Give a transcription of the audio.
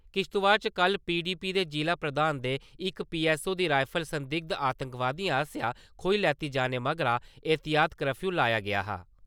किश्तबाड़ च कल पीडीपी दे जिला प्रधान दे इक पीएसओ दी राईफल संगिद्ध आतंकवादियें आस्सेया खोई लैते जाने मगरा एह्तियात कर्फयू लाया गेआ हा।